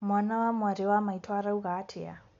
Mwana wa mwarĩ wa maĩtu arauga atĩa.